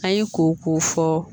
An ye ko k'o fɔ